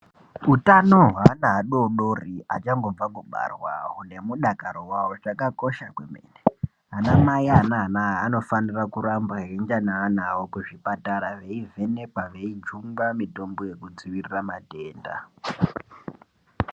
Utano hweana adoodori achangobva kubarwa nemudakaro wavo hwakakosha kwemene. Anamai ane ana aya anofanire kuramba veienda neana avo kuzvipatara veivhenekwa veijungwa mitombo yekudzivirira matenda.